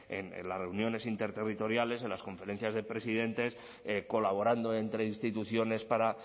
en las reuniones interterritoriales en las conferencias de presidentes colaborando entre instituciones para